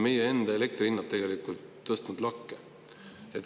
Meie enda elektrihinnad on ju lakke tõusnud.